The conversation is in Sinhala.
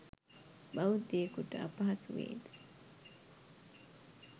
බෞද්ධයෙකුට අපහසු වේ ද?